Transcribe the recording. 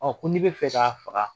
ko ni bɛ fɛ ka faga